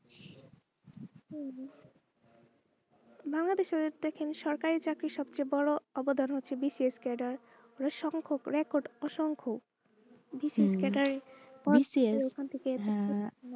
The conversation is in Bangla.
আমাদের শহরে দেখেন সরকারি চাকরির সবচেয়ে বোরো অবদান হচ্ছে bcs cadder অসংখ প্রায় অসংখ bcs cadder ওখান থেকে।